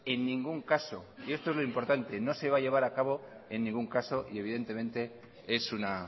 en ningún caso y esto es lo importante no se va a llevar a cabo en ningún caso y evidentemente es una